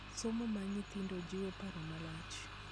Somo mar nyithindo jiwo paro malach.